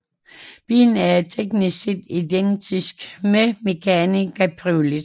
Bilen er teknisk set identisk med Mégane cabriolet